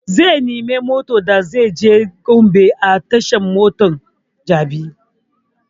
Zai nemi motan da zai je gombe a tashan mota ta jabi